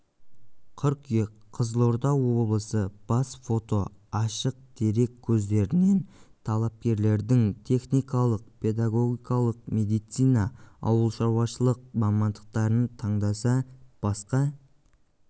қыркүйек қызылорда облысы бас фото ашық дерек көздерінен талапкерлердің техникалық педагогикалық медицина ауылшаруашылық мамандықтарын таңдаса басқа